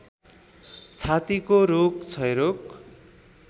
छातीको रोग क्षयरोग